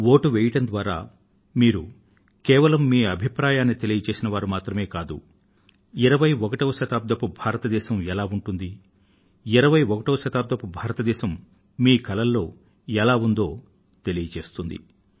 vote వేయడం ద్వారా మీరు మీ అభిప్రాయాన్ని తెలియజేసేవారు మాత్రమే కాదు 21వ శతాబ్దపు భారతదేశం ఎలా ఉంటుంది 21వ శతాబ్దపు భారతదేశం మీ కలల్లో ఎలా ఉందో తెలియజేస్తుంది